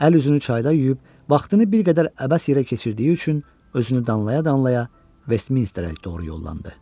Əl üzünü çayda yuyub, vaxtını bir qədər əbəs yerə keçirdiyi üçün özünü danlaya-danlaya Vestminsterə doğru yollandı.